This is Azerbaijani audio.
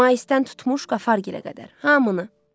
Maidən tutmuş Qafargilə qədər hamını.